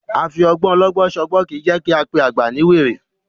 A fi ọgbọ́n ọlọ́gbọ́n ṣọgbọ́n kì í jẹ́ ká pé àgbà ní wèrè.